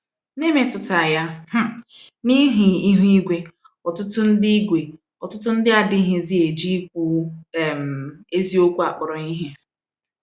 N’emetụta ya um n'ihi ihụ igwe, ọtụtụ ndị igwe, ọtụtụ ndị adịghịzi eji ikwu um eziokwu akpọrọ ihe.